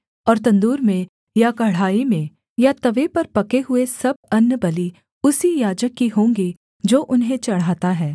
और तंदूर में या कड़ाही में या तवे पर पके हुए सब अन्नबलि उसी याजक की होंगी जो उन्हें चढ़ाता है